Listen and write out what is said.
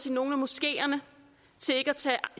i nogle af moskeerne